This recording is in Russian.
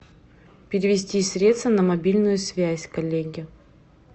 перевести средства на мобильную связь коллеге